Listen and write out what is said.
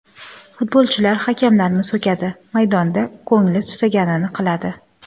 Futbolchilar hakamlarni so‘kadi, maydonda ko‘ngli tusaganini qiladi.